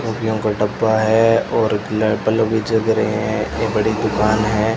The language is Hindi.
टॉफीयों का डब्बा है और बल्ब भी जल रहे हैं ये बड़ी दुकान है।